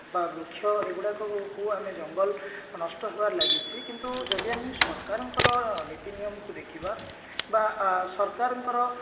ବା ବୃକ୍ଷ ଏଗୁଡାକୁ କୁ ଆମେ ଜଙ୍ଗଲ ନଷ୍ଟ ହେବାରେ ଲାଗିଛି କିନ୍ତୁ ଯଦି ଆମେ ସରକାରଙ୍କର ନୀତି ନିୟମକୁ ଦେଖିବା ବା ସରକାରଙ୍କର